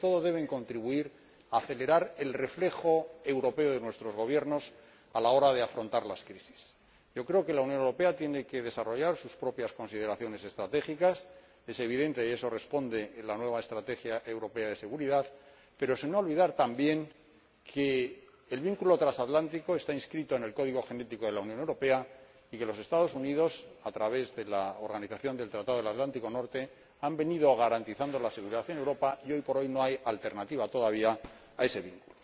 Y, sobre todo, deben contribuir a acelerar el reflejo europeo de nuestros gobiernos a la hora de afrontar las crisis. Yo creo que la Unión Europea tiene que desarrollar sus propias consideraciones estratégicas —es evidente, y eso responde en la nueva estrategia de seguridad—, pero sin olvidar que el vínculo transatlántico está inscrito en el código genético de la Unión Europea y que los Estados Unidos, a través de la Organización del Tratado del Atlántico Norte, han venido garantizando la seguridad en Europa y, hoy por hoy, no hay alternativa todavía a ese vínculo.